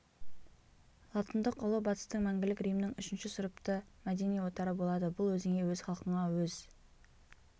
латындық ұлы батыстың мәңгілік римнің үшінші сұрыпты мәдени отары болады бұл өзіңе өз халқыңа өз